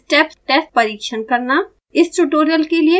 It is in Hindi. step test परिक्षण करना